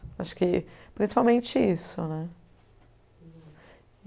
Acho que principalmente isso, né?